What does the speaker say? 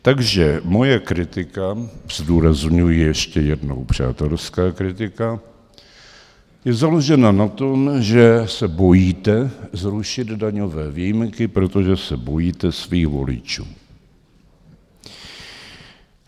Takže moje kritika, zdůrazňuji ještě jednou, přátelská kritika, je založena na tom, že se bojíte zrušit daňové výjimky, protože se bojíte svých voličů.